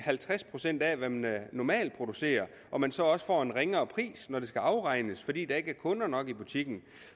halvtreds procent af hvad man normalt producerer at man så også får en ringere pris når der skal afregnes fordi der ikke er kunder nok i butikken